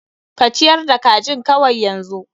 Ka ciyar da kajin kawai yanzu.